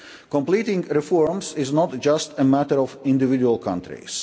Completing reforms is not just a matter of individual countries.